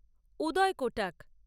Uday Kotak